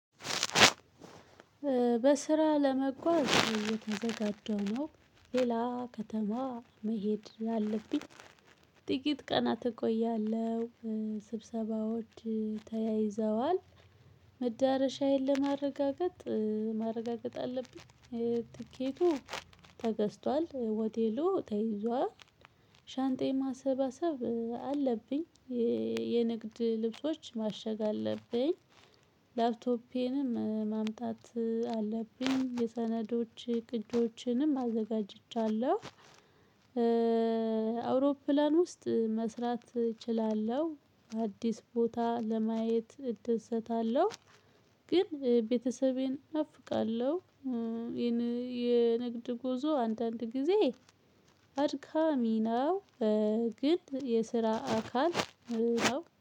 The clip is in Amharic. በስራ ለመጓዝ እየተዘጋጀው ነው ሌላ ከተማ መሄድ አለብኝ። ጥቂት ቀናት እቆያለሁ። ስብሰባዎች ተያይዘዋል። መዳረሻዬን ለማረጋገጥ ማረጋገጥ አለብኝ ትኬቱ ተገዝቷል ሆቴሉ ተይዟል። ሻንጣዬን ማሰባሰብ አለብኝ። የንግድ ልብሶች ማሸግ አለብኝ። ላፕቶፔንም ማምጣት አለብኝ የሰነዶች ቅጆችንም አዘጋጅቻለሁ። አውሮፕላን ውስጥ መስራት እችላለሁ አዲስ ቦታ ለማየት እደሰታለሁ። ግን ቤተሰቤን እናፍቃለሁ። የንግድ ጉዞ አንዳንድ ጊዜ አድካሚ ነው። ግን የስራ አካል ነው